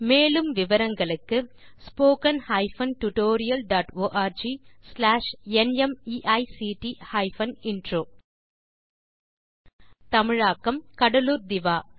மேலும் விவரங்களுக்கு spoken hyphen tutorial dot org slash NMEICT hyphen intro தமிழாக்கம் கடலூர் திவா